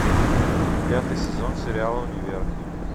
пятый сезон сериала универ